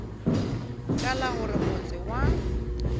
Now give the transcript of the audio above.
ka la gore motse wa